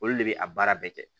Olu de bɛ a baara bɛɛ kɛ